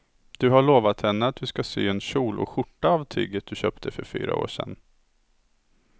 Du har lovat henne att du ska sy en kjol och skjorta av tyget du köpte för fyra år sedan.